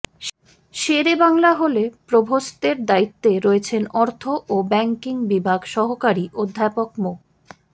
শেরেবাংলা হলে প্রভোস্টের দায়িত্বে রয়েছেন অর্থ ও ব্যাংকিং বিভাগ সহকারী অধ্যাপক মো